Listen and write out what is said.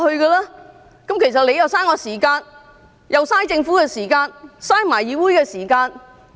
這樣其實是浪費我的時間、浪費政府時間，亦浪費議會時間。